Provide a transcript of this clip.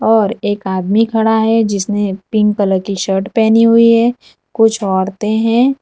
और एक आदमी खड़ा है जिसने पिंक कलर की शर्ट पहनी हुई है कुछ औरते है।